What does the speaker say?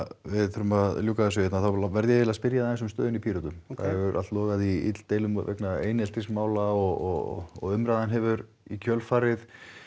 við þurfum að ljúka þessu hérna þá verð ég að spyrja þig aðeins um stöðuna í Pírötum það hefur allt logað í illdeilum vegna eineltismála og umræðan hefur í kjölfarið